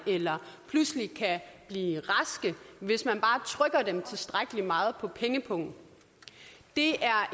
eller pludselig kan blive raske hvis man bare trykker dem tilstrækkelig meget på pengepungen det